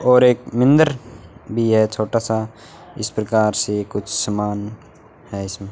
और एक मिंदर भी है छोटा सा इस प्रकार से कुछ समान है इसमें।